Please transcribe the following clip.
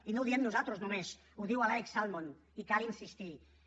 i no ho diem nosaltres només ho diu alex salmond i cal insistir hi